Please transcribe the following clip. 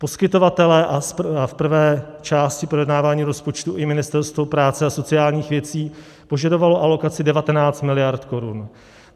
Poskytovatelé a v prvé části projednávání rozpočtu i Ministerstvo práce a sociálních věcí požadovali alokaci 19 miliard korun.